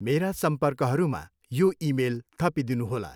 मेरा सम्पर्कहरूमा यो इमेल थपिदिनुहोला।